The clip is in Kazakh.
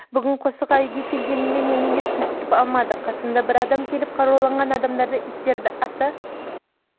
бүгін қосшыға үйге келгенімде мені ешкім күтіп алмады қасыма бір адам келіп қаруланған адамдардың иттерді ата